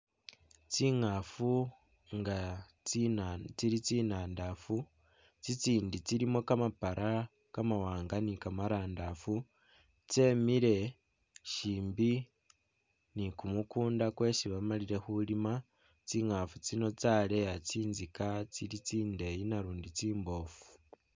Tsingafu nga tsi tsili tsinandafu tsitsindi tsilimo kamapala kamawaanga ni kamarandafu, tsemile shimbi ni kumukunda kwesi bamalile khulima tsingafu tsino tsaleya tsintsika tsili tsindeye nalundi tsi tsiboofu